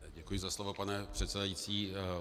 Děkuji za slovo, pane předsedající.